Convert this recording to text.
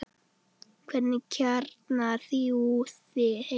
Hvernig kjarnar þú þig heima?